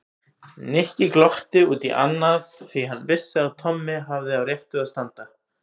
Nikki glotti út í annað því hann vissi að Tommi hafði á réttu að standa.